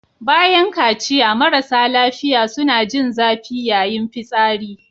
Bayan kaciya marasa lafiya suna jin zafi yayin fitsari.